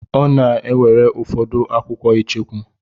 Ọ na-ewere ụfọdụ akwụkwọ icheku.